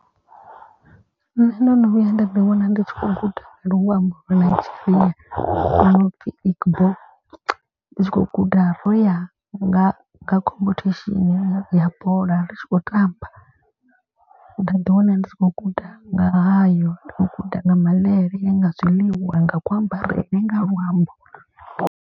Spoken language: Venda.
Nṋe ndo no vhuya nda ḓi wana ndi tshi khou guda luambo lwa Nigeria lwo nopfi Igbo. Ndi tshi khou guda roya nga khomphethesheni ya bola ri tshi khou tamba nda ḓi wana ndi tshi khou guda nga hayo u guda nga mvelele, ya nga zwiḽiwa, nga ku ambarele nga luambo.